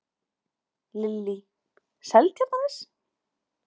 Lillý: Seltjarnarnes?